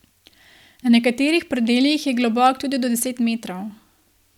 Na nekaterih predelih je globok tudi do deset metrov.